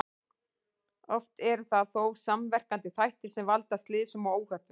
Oft eru það þó samverkandi þættir sem valda slysum og óhöppum.